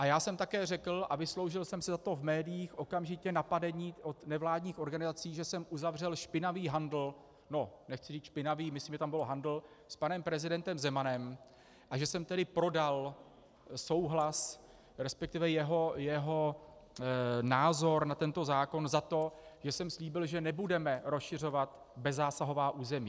A já jsem také řekl, a vysloužil jsem si za to v médiích okamžitě napadení od nevládních organizací, že jsem uzavřel špinavý handl - no, nechci říct špinavý, myslím, že tam byl handl - s panem prezidentem Zemanem a že jsem tedy prodal souhlas, respektive jeho názor na tento zákon, za to, že jsem slíbil, že nebudeme rozšiřovat bezzásahová území.